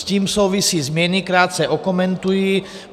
S tím souvisí změny, krátce okomentuji.